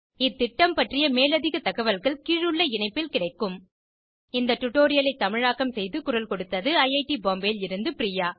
இந்த திட்டம் பற்றிய மேலதிக தகவல்கள் கீழுள்ள இணைப்பில் கிடைக்கும் இந்த டுடோரியலை தமிழாக்கம் செய்து குரல் கொடுத்தது ஐஐடி பாம்பேவில் இருந்து பிரியா